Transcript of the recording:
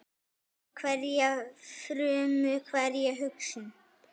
Fyllir hverja frumu, hverja hugsun.